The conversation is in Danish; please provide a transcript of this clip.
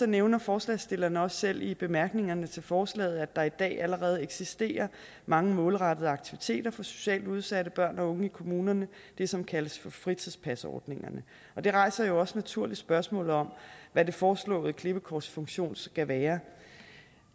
nævner forslagsstillerne også selv i bemærkningerne til forslaget at der i dag allerede eksisterer mange målrettede aktiviteter for socialt udsatte børn og unge i kommunerne det som kaldes for fritidspasordningerne det rejser jo også naturligt spørgsmålet om hvad det foreslåede klippekorts funktion skal være